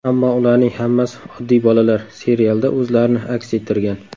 Ammo ularning hammasi oddiy bolalar, serialda o‘zlarini aks ettirgan.